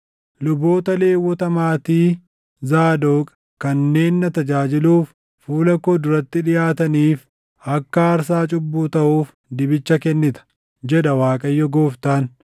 luboota Lewwota maatii Zaadoq kanneen na tajaajiluuf fuula koo duratti dhiʼaataniif akka aarsaa cubbuu taʼuuf dibicha kennita, jedha Waaqayyo Gooftaan.